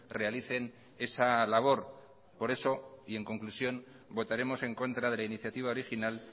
realicen esa labor por eso y en conclusión votaremos en contra de la iniciativa original